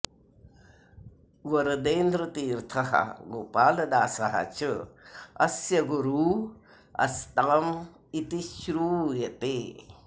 वरदेन्द्रतीर्थः गोपालदासः च अस्य गुरू अस्ताम् इति श्रूयते